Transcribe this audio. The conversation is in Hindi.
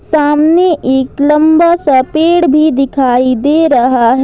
सामने एक लंबा सा पेड़ भी दिखाई दे रहा है।